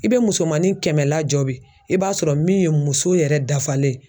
I be musomanin kɛmɛ lajɔ bi i b'a sɔrɔ min ye muso yɛrɛ dafalen ye